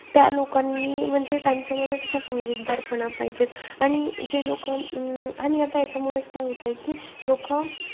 त्या लोकांनी म्हणजे त्यांच्यामध्ये तसा समजूतदारपणा पाहिजे. आणि जे लोक अं आणि आता यांच्यामुळेचं काय होतंय कि लोकं,